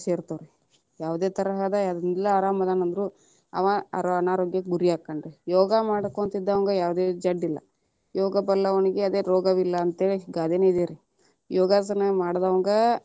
ಸೇರತಾವ ರೀ, ಯಾವದೇ ತರಹದ ಎಲ್ಲಾ ಆರಾಮ ಅದೇನಂದ್ರು ಅವಾ ಅನಾರೋಗ್ಯಕ್ಕೆ ಗುರಿ ಆಕ್ಕಾನರಿ, ಯೋಗಾ ಮಾಡ್ಕೊಂತ ಇದ್ದವನಿಗೆ ಯಾವುದೇ ಜಡ್ಡ. ಇಲ್ಲ ಯೋಗ ಬಲ್ಲವನಿಗೆ ಅದೇ ರೋಗವಿಲ್ಲ ಅಂತೇಳಿ ಗಾದೆನ ಇದೇರಿ ಯೋಗಾಸನ ಮಾಡದವಂಗ.